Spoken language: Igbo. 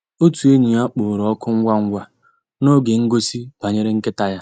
Ótú ényí yá kpọ̀rọ́ òkụ́ ngwá ngwá n'ògé ngósì bànyéré nkị́tá yá.